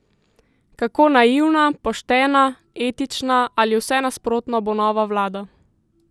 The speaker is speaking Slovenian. Kako naivna, poštena, etična ali vse nasprotno bo nova vlada?